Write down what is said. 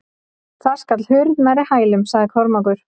Þar skall hurð nærri hælum, sagði Kormákur.